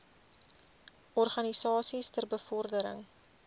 organisasies ter bevordering